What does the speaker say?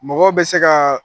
Mɔgɔ bɛ se kaa